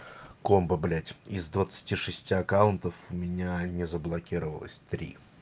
комбо блять из двадцати шести аккаунтов у меня не заблокировалось три